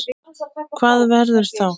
Hvað verður þá?